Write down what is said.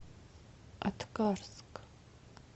аткарск